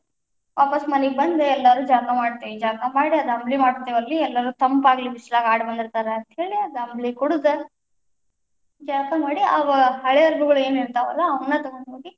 ವಾಪಸ್ ಮನಿಗ ಬಂದು ಎಲ್ಲರು ಜಳಕಾ ಮಾಡ್ತೇವಿ, ಜಳಕಾ ಮಾಡಿ ಅದ್ ಅಂಬ್ಲಿ ಮಾಡಿರ್ತೀವಲ್ಲರೀ ಎಲ್ಲಾರೂ ತಂಪಾಗಲಿ ಬಿಸಲಾಗ ಆಡಿ ಬಂದಿರ್ತಾರ ಅಂತ ಹೇಳಿ ಅದ ಅಂಬ್ಲಿ ಕುಡದ, ಜಳಕಾ ಮಾಡಿ ಆ ಹಳೆ ಅರ್ಬಿಗಳು ಏನ್ ಇರ್ತಾವಲ್ಲ ಅವನ್ನ ತಗೊಂಡ್ ಹೋಗಿ.